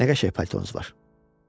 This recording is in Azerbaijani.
Nə qəşəng paltounuz var?